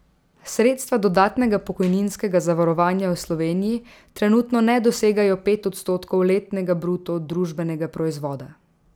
Sredstva dodatnega pokojninskega zavarovanja v Sloveniji trenutno ne dosegajo pet odstotkov letnega bruto družbenega proizvoda.